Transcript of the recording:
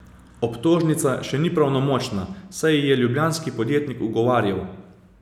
Obtožnica še ni pravnomočna, saj ji je ljubljanski podjetnik ugovarjal.